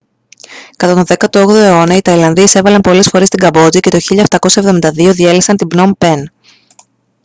κατά τον 18ο αιώνα οι ταϊλανδοί εισέβαλαν πολλές φορές στη καμπότζη και το 1772 διέλυσαν την πνομ πεν